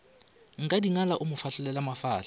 nkadingala a mo hlanolela mafahla